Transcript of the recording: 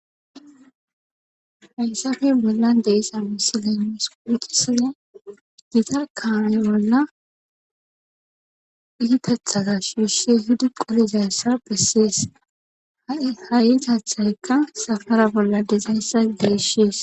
hayssafe mollan deissa misiley mus quucisiya gita kaame bolla phigitethaza shiuse hido qolizassa phessees ha7i tathaykka safara bolla dizayssa deeshees